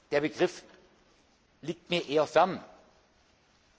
Der Begriff liegt mir eher fern.